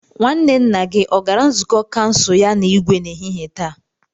Nwanne nna gi o gara nzukọ kansụl ya na Igwe n'ehihie taa?